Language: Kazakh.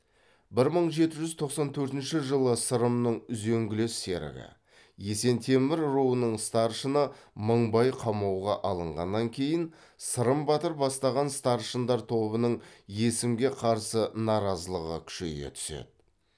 бір мың жеті жүз тоқсан төртінші жылы сырымның үзеңгілес серігі есентемір руының старшыны мыңбай қамауға алынғаннан кейін сырым батыр бастаған старшындар тобының есімге қарсы наразылығы күшейе түседі